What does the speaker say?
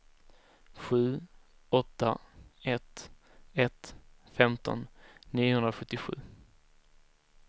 sju åtta ett ett femton niohundrasjuttiosju